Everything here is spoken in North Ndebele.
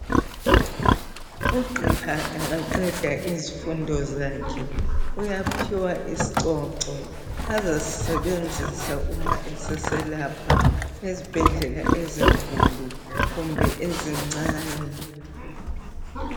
u Gqiha engaqeda izifundo zakhe uyaphiwa isicoco asasisebenzisa nxa eseselapha ezibhedlela ezinkulu kumbe ezincane